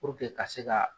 ka se ka